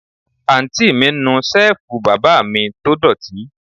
Àǹtí mi ń nu Ṣẹ́ẹ̀fù bàbá mi tó dọ̀tí